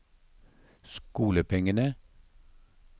skolepengene